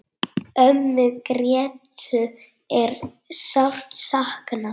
Ömmu Grétu er sárt saknað.